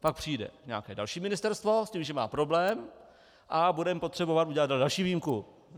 Pak přijde nějaké další ministerstvo s tím, že má problém, a budeme potřebovat udělat další výjimku.